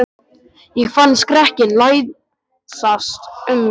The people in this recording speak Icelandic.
Ég fann skrekkinn læsast um mig.